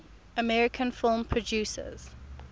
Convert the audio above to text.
american film producers